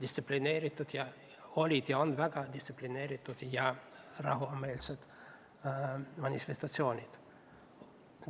Ei, need olid ja on väga distsiplineeritud ja rahumeelsed manifestatsioonid.